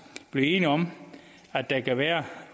blive enige om at der kan være